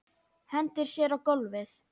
Hendir sér á gólfið.